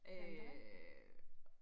Øh